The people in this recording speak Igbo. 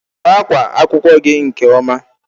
Sụọ akwa akwụkwọ gị nke ọma.